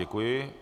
Děkuji.